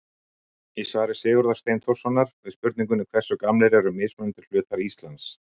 Í svari Sigurðar Steinþórssonar við spurningunni Hversu gamlir eru mismunandi hlutar Íslands?